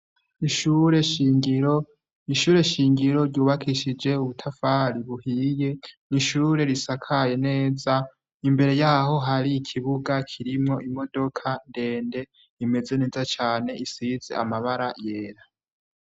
Ishure shingiro , ishure shingiro ryubakishije ubutafari buhiye, n’ishure risakaye neza, imbere yaho hari ikibuga kirimwo imodoka ndende , imeze neza cane isize amabara yera.